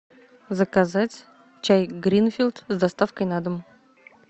заказать чай гринфилд с доставкой на дом